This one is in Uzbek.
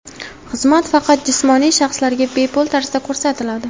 Xizmat faqat jismoniy shaxslarga bepul tarzda ko‘rsatiladi.